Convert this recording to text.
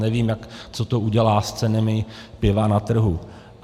Nevím, co to udělá s cenami piva na trhu.